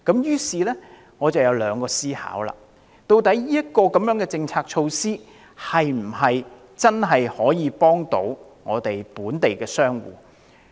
於是，我產生了兩大思考：究竟這項政策措施能否真正幫助本地商戶？